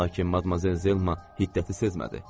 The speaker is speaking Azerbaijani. Lakin Madmazel Zelma hiddəti sezmədi.